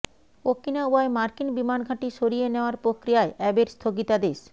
ওকিনাওয়ায় মার্কিন বিমান ঘাঁটি সরিয়ে নেয়ার প্রক্রিয়ায় অ্যাবের স্থগিতাদেশ